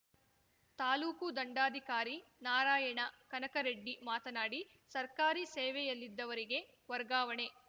ತಾಲೂಕು ದಂಡಾಧಿಕಾರಿ ನಾರಾಯಣ ಕನಕರೆಡ್ಡಿ ಮಾತನಾಡಿ ಸರ್ಕಾರಿ ಸೇವೆಯಲ್ಲಿದ್ದವರಿಗೆ ವರ್ಗಾವಣೆ